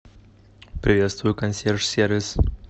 приветствую консьерж сервис